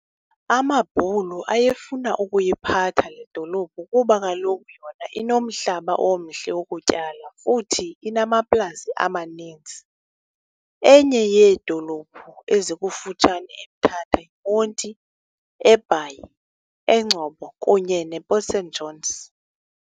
Amabhulu ayefuna ukuyiphatha ledolophu kuba kaloku yona inomhlaba omhle wokutyala futhi inamaplasi amanintsi. Enye yeedolophu ezikufutshane eMthatha yiMonti, eBhayi, eNgcobo kunye ne Port St Johns.